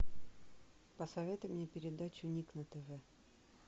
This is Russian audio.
посоветуй мне передачу ник на тв